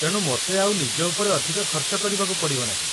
ତେଣୁ ମୋତେ ଆଉ ନିଜ ଉପରେ ଅଧିକ ଖର୍ଚ୍ଚ କରିବାକୁ ପଡ଼ିବ ନାହିଁ